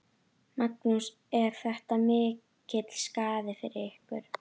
Magnús: Er þetta mikill skaði fyrir ykkur?